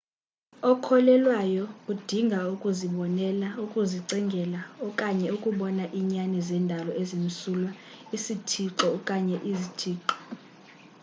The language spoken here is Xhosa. okholelwayo udinga ukuzibonela ukuzicingela okanye ukubona iinyani zendalo ezimsulwa/isithixo okanye izthixo